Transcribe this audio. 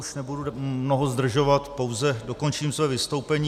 Už nebudu mnoho zdržovat, pouze dokončím své vystoupení.